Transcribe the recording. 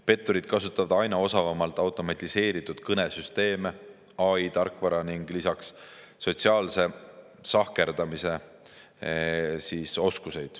Petturid kasutavad aina osavamalt automatiseeritud kõnesüsteeme, AI-tarkvara ning lisaks sotsiaalse sahkerdamise oskusi.